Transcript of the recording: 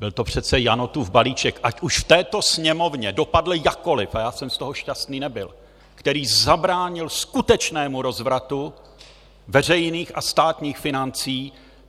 Byl to přece Janotův balíček, ať už v této Sněmovně dopadl jakkoliv, a já jsem z toho šťastný nebyl, který zabránil skutečnému rozvratu veřejných a státních financí.